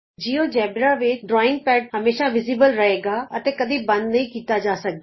GeoGebra ਵਿਚ drawing pad ਹਮੇਸ਼ਾ ਦਿੱਸੇਗਾ ਅਤੇ ਕਦੇ ਬੰਦ ਨਹੀਂ ਕੀਤਾ ਜਾ ਸਕਦਾ